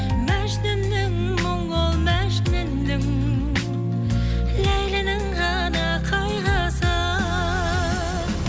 мәжнүннің мұңы мәжнүннің ләйлінің ғана қайғысы